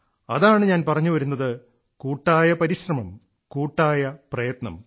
അതാണ് ഞാൻ പറഞ്ഞു വരുന്നത് കൂട്ടായ പരിശ്രമം കൂട്ടായ പ്രയത്നം